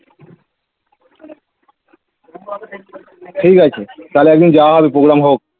ঠিক আছে তাহলে একদিন যাওয়া হবে program হোক